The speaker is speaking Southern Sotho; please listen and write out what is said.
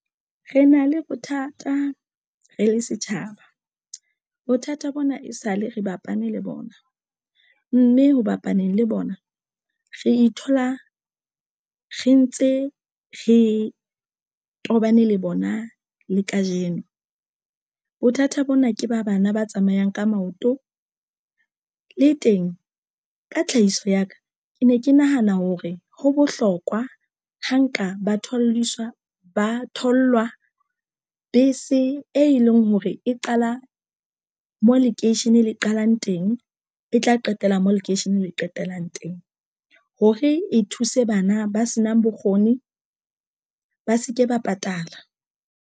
Re na le bothata re le setjhaba bothata bona e sale re bapane le bona mme ho bapaneng le bona re ithola re ntse re tobane le bona le kajeno. Bothata bona ke ba bana ba tsamayang ka maoto le teng ka tlhahiso ya ka. Ke ne ke nahana hore ho bohlokwa ho nka ba tholisa ba thollwa bese, e leng hore e qala mo lekeisheneng le qalang teng, e tla qetela mo lekeisheneng le qetellang teng hore e thuse bana ba senang bokgoni ba se ke ba patala.